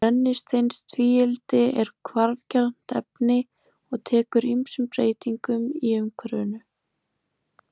Brennisteinstvíildi er hvarfgjarnt efni og tekur ýmsum breytingum í umhverfinu.